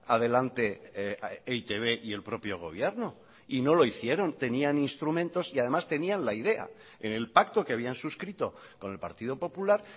adelante e i te be y el propio gobierno y no lo hicieron tenían instrumentos y además tenían la idea en el pacto que habían suscrito con el partido popular